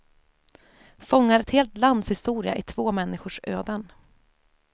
Fångar ett helt lands historia i två människors öden.